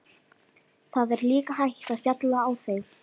Það er líka hægt að falla á þeim.